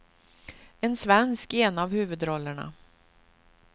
En svensk i en av huvudrollerna.